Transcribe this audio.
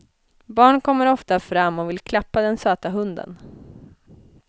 Barn kommer ofta fram och vill klappa den söta hunden.